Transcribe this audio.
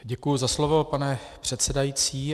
Děkuju za slovo, pane předsedající.